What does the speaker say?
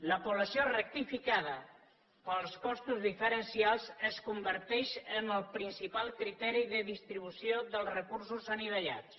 la població rectificada pels costos diferencials es converteix en el principal criteri de distribució dels recursos anivellats